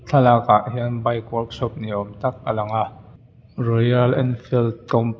thlalak ah hian bike workshop ni awm tak a lang a royal enfield compa .